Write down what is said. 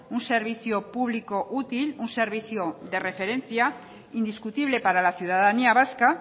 un servicio público útil un servicio de referencia indiscutible para la ciudadanía vasca